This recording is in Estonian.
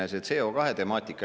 Esimene see CO2-temaatika.